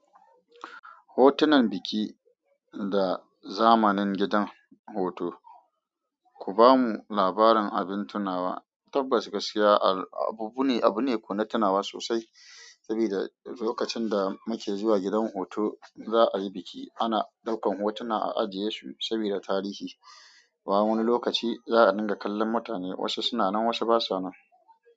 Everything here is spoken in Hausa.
Hotunan biki da zamanin gidan hoto. Ku bamu labarin abin tunawa, tabbas gaskiya abu ne, abu ne kunne tunawa sosai saboda lokacin da muke zuwa gidan hutu za a yi biki. Ana ɗaukan hotuna a ajiye su sabida tarihi. Kowani lokaci za'a dinga kallon mutane, waɗansu sunan waɗansu kuma basa nan.